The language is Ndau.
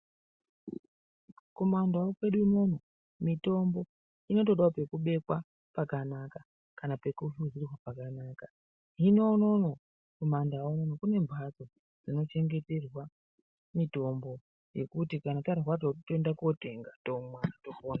Kumandau kwedu unono mitombo inotodao pekubekwa pakanaka kana pekuhlunurwa pakanaka hino unono kumandau kune mbatso inochengeterwa mitombo yekuti kana tarwara totoenda kotenga tomwa topona.